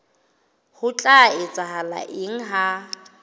ho tla etsahala eng ha